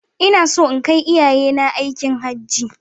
Ina so in kai iyayena aikin Hajji